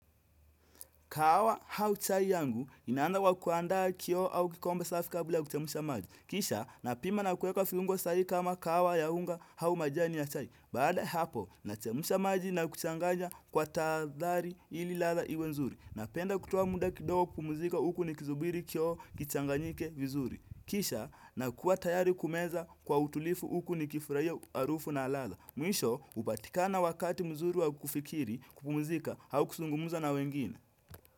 Kahawa au chai yangu inaanza kwa kuandaa kioo au kikombe safi kabla ya kuchemsha maji. Kisha napima na kuweka viungo sai kama kahawa ya unga au majani ya chai. Baada ya hapo nachemsha maji na kuchanganya kwa tahadhari ili ladha iwe nzuri. Napenda kutoa muda kidogo kupumzika huku nikisubiri kioo kichanganyike vizuri. Kisha nakuwa tayari kumeza kwa utulivu huku nikifurahia harufu na ladha. Mwisho hupatikana wakati mzuri wa kufikiri kupumzika au kuzungumza na wengine.